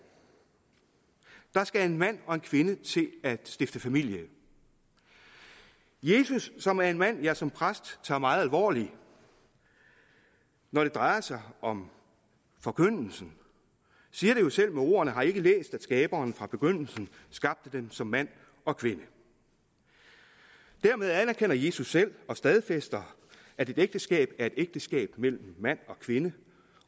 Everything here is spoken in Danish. der skal en mand og en kvinde til at stifte familie jesus som er en mand som jeg som præst tager meget alvorligt når det drejer sig om forkyndelsen siger det jo selv med ordene har i ikke læst at skaberen fra begyndelsen skabte dem som mand og kvinde dermed anerkender jesus selv og stadfæster at et ægteskab er et ægteskab mellem mand og kvinde